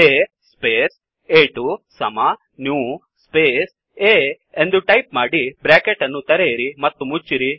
A space ಆ2 ಸಮ new space A ಎಂದು ಟೈಪ್ ಮಾಡಿ ಬ್ರ್ಯಾಕೆಟ್ ಅನ್ನು ತೆರೆಯಿರಿ ಮತ್ತು ಮುಚ್ಚಿರಿ